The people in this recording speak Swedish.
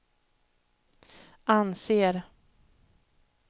anser